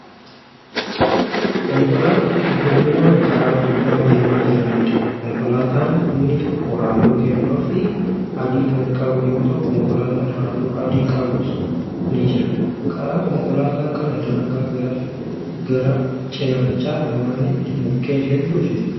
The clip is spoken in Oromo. Konkolaataa huddumminaan karaa gubbaa deemaa jiraniidha. konkolaataan inni tokko halluu keelloofi adii Kan qabu yoo ta'u konkolaataan halluu adii qabus ni jira. karaa konkolaataa kana daangaa gara cinaacha lamaaniitti mukkeen hedduun jiru.